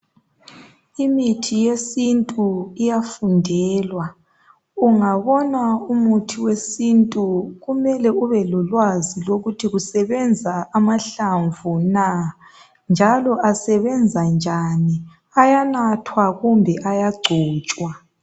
Imithi yesintu iyafundelwa Ungabona umuthi wesintu kumele ubelolwazi lokuthi kusebenza amahlamvu na njalo asebenza njani .Ayanathwa kumbe ayagcotshwa